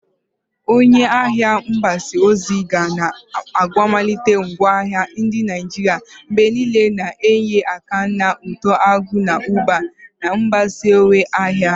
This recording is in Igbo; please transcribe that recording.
Onye ahịa mgbasa ozi ga na-akwalite ngwaahịa ndị Naijiria mgbe niile, na-enye aka na uto akụ na ụba na mgbasawanye ahịa.